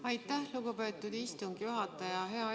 Aitäh, lugupeetud istungi juhataja!